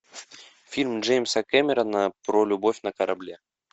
фильм джеймса кэмерона про любовь на корабле